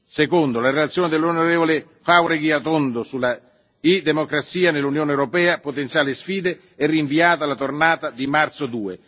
Secondo, la relazione dell'onorevole Jáuregui Atondo sulla e democrazia nell'Unione europea potenziale e sfide è rinviata alla tornata di marzo II.